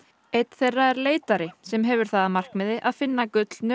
einn þeirra er leitari sem hefur það að markmiði að finna gullnu